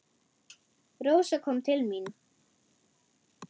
Rósa kom til mín.